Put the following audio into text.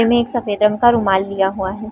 गले में एक सफ़ेद रंग का रुमाल लिया हुआ है।